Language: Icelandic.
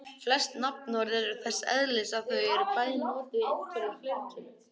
Flest nafnorð eru þess eðlis að þau eru bæði notuð í eintölu og fleirtölu.